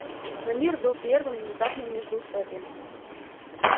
но мир был прерван незапным междуусобием